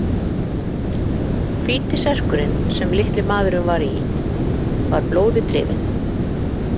Hvíti serkurinn sem litli maðurinn var í var blóði drifinn.